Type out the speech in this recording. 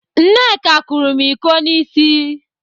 Nneka kụrụ m íkó n'ịsị.